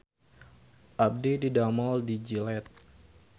Abdi didamel di Gillette